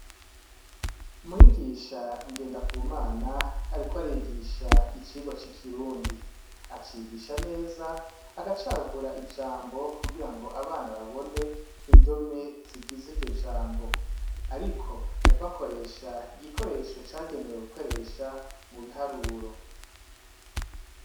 Mwigisha NGENDAKUMANA ariko arigisha icigwa c'ikirundi, acigisha neza agacagagura ijambo kugirango abana babone indome zigize iryo jambo ariko akoresha igikoresho cagenewe gukoresha mubiharuro.